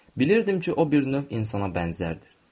Bilirdim ki, o bir növ insana bənzərdir.